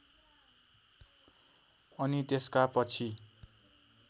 अनि त्यसका पछि